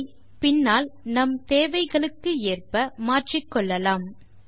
அதை பின்னால் நம் தேவைகளுக்கு ஏற்ப மாற்றிக்கொள்ளலாம்